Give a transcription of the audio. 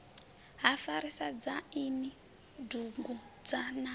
ha farisa dzwaini dugudzha na